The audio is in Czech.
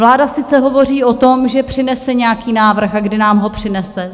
Vláda sice hovoří o tom, že přinese nějaký návrh, ale kdy nám ho přinese?